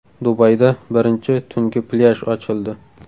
Dubayda birinchi tungi plyaj ochildi.